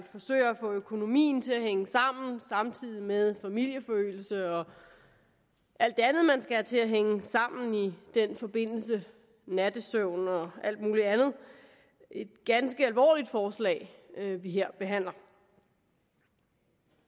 få økonomien til at hænge sammen samtidig med familieforøgelse og alt det andet man skal have til at hænge sammen i den forbindelse nattesøvn og alt muligt andet et ganske alvorligt forslag vi her behandler